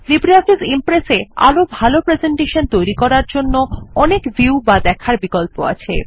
LibreOffice Impress এ আরো ভালো প্রেসেন্টেশন তৈরী করার জন্য অনেক ভিউ বা দেখার বিকল্প আছে